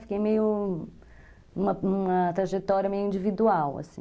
Fiquei meio... numa numa trajetória meio individual, assim.